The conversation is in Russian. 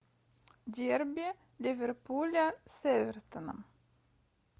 дерби ливерпуля с эвертоном